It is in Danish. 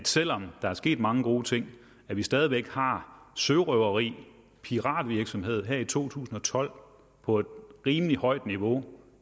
selv om der er sket mange gode ting stadig væk har sørøveri piratvirksomhed her i to tusind og tolv på et rimelig højt niveau